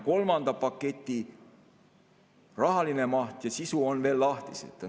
Kolmanda paketi rahaline maht ja sisu on veel lahtised.